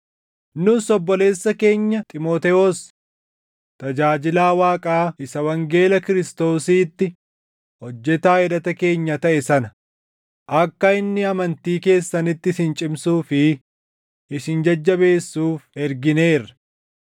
Nus obboleessa keenya Xiimotewos, tajaajilaa Waaqaa isa wangeela Kiristoosiitti hojjetaa hidhata keenya taʼe sana, akka inni amantii keessanitti isin cimsuu fi isin jajjabeessuuf ergineerra;